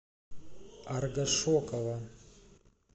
аргашокова